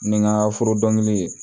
Ni n ka foro dɔnkili ye